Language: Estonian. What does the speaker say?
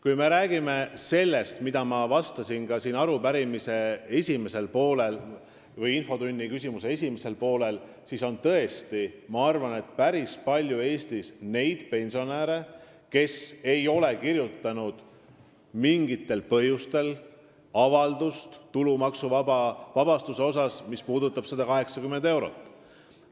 Kui me räägime sellest, millest oli ka siin infotunnis eespool juttu, siis ma tõesti arvan, et Eestis oli päris palju neid pensionäre, kes ei olnud kirjutanud mingil põhjusel tulumaksuvabastuse avaldust 180 euro kohta.